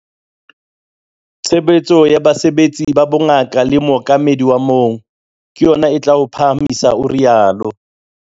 Tshehetso ya basebetsi ba bongaka le mookamedi wa moo - ke yona e tla o phahamisa, o rialo.